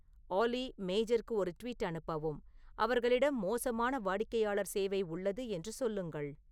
ஆலி மெய்ஜர்க்கு ஒரு ட்வீட் அனுப்பவும் அவர்களிடம் மோசமான வாடிக்கையாளர் சேவை உள்ளது என்று சொல்லுங்கள்